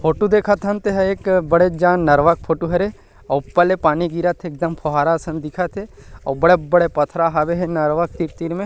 photo देखत हन ते ह एक बड़े जान नरवा के फोटो हरे अउ ऊपर ले पानी गीरत हे एकदम फुहारा असन दिखत हे अउ बड़े-बड़े पत्थर हावे हे नरवा के तीर-तीर में--